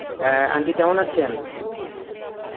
অ্যাঁ aunty কেমন আছেন?